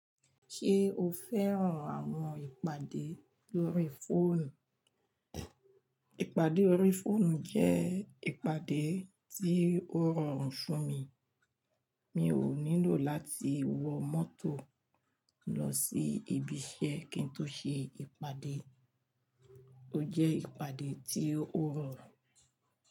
Ṣé o fẹ́ràn àwọn ìpàdé lórí fóònù? Ìpàdé orí fóònù jẹ́ ìpàdé tí ó rọrùn fún mi. Mi ò nílò láti wọ mọ́tò lọ sí ibi iṣẹ́ kí n tó ṣe ìpàdé. Ó jẹ́ ìpàdé tí ó rọrùn.